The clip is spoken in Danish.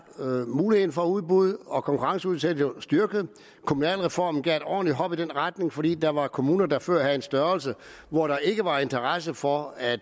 muligheden for udbud og konkurrenceudsættelse jo styrket kommunalreformen gav et ordentligt hop i den retning fordi der var kommuner der før havde en størrelse hvor der ikke var interesse for at